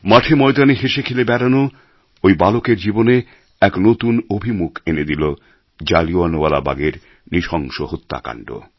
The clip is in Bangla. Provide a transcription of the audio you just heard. মাঠে ময়দানে হেসেখেলে বেড়ানো ওই বালকের জীবনে এক নতুন অভিমুখ এনে দিল জালিয়ান ওয়ালাবাগের নৃশংস হত্যাকান্ড